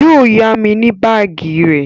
Yó yá mi ní báàgì rẹ